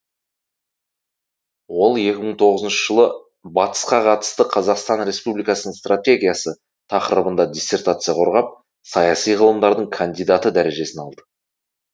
ол екі мың тоғызыншы жылы батысқа қатысты қазақстан республикасының стратегиясы тақырыбында диссертация қорғап саяси ғылымдарының кандидаты дәрежесін алды